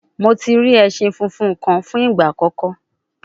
Mo ti ri ẹṣin funfun kan fun igba akọkọ